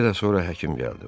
Bir qədər sonra həkim gəldi.